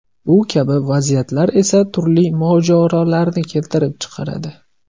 Bu kabi vaziyatlar esa turli mojarolarni keltirib chiqaradi.